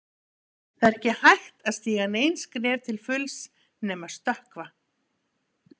Það er ekki hægt að stíga nein skref til fulls nema stökkva.